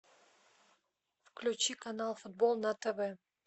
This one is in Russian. включи канал футбол на тв